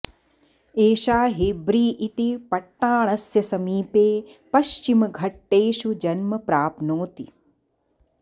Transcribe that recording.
एषा हेब्री इति पट्टाणस्य समीपे पश्चिमघट्टेषु जन्म प्राप्नोति